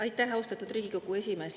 Aitäh, austatud Riigikogu esimees!